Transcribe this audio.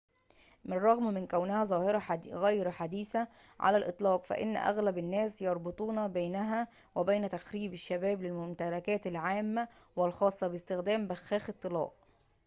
بالرغم من كونها ظاهرة غير حديثة على الإطلاق فإن أغلب الناس يربطون بينها وبين تخريب الشباب للممتلكات العامة والخاصة باستخدام بخاخ الطلاء